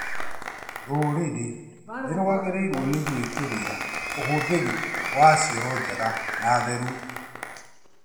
Rũrĩrĩ nĩrwagĩrĩirwo nĩ gwĩkĩrĩra ũhũthĩri wa cioro njega na theru